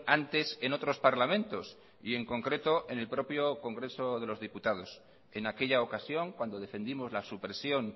antes en otros parlamentos y en concreto en el propio congreso de los diputados en aquella ocasión cuando defendimos la supresión